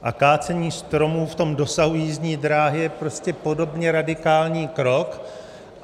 A kácení stromů v tom dosahu jízdní dráhy je prostě podobně radikální krok.